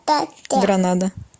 гранада